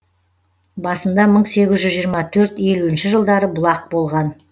басында мың сегіз жүз жиырма төрт елуінші жылдары бұлақ болған